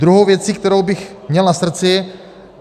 Druhá věc, kterou bych měl na srdci.